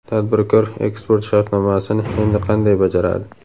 Tadbirkor eksport shartnomasini endi qanday bajaradi?.